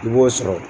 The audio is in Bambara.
I b'o sɔrɔ